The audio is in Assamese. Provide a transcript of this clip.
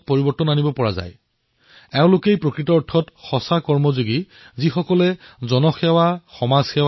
মই এনে কিছুমান লোকৰ বিষয়ে আপোনালোকক জনাবলৈ বিচাৰিছো